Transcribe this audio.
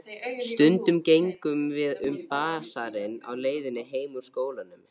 Stundum gengum við um basarinn á leiðinni heim úr skólanum.